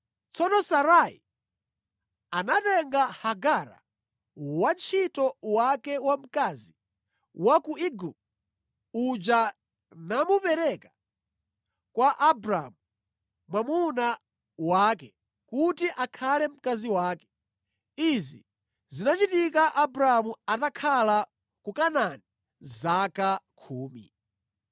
Tsono Sarai anatenga Hagara wantchito wake wamkazi wa ku Igupto uja namupereka kwa Abramu mwamuna wake kuti akhale mkazi wake. Izi zinachitika Abramu atakhala ku Kanaani zaka khumi.